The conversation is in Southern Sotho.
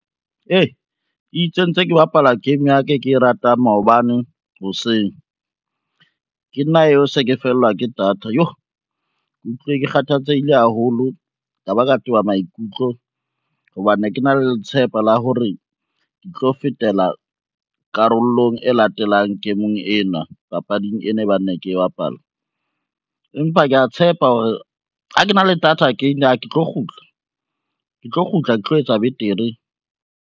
Itse ntse ke bapala game ya ka e ke e ratang maobane hoseng, ke nna eo se ke fellwa ke data, yoh ke utlwile ke kgathatsehile haholo ka ba ka toba maikutlo, hobane ne ke na le letshepa la hore ke tlo fetela karolong e latelang game-eng ena papading ena e bang ne ke e bapala. Empa kea tshepa hore ha ke na le data again ah ke tlo kgutla, ke tlo kgutla, ke tlo etsa betere.